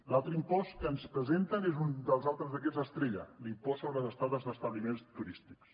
l’altre impost que ens presenten és un dels altres d’aquests estrella l’impost sobre les estades en establiments turístics